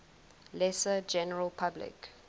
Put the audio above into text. lesser general public